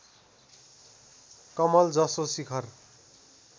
कमल जसो शिखर